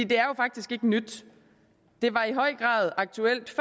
det er jo faktisk ikke nyt det var i høj grad aktuelt